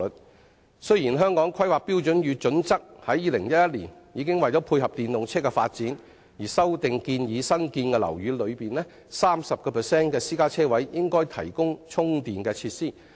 為配合電動車的發展，《香港規劃標準與準則》於2011年已作修訂，建議新建樓宇內 30% 的私家車車位應提供充電設施。